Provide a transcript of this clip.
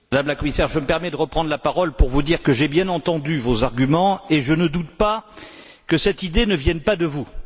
Madame la Commissaire, je me permets de reprendre la parole pour vous dire que j'ai bien entendu vos arguments et que je ne doute pas que cette idée ne vienne pas de vous.